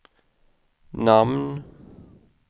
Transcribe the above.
namn